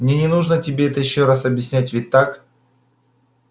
мне не нужно тебе это ещё раз объяснять ведь так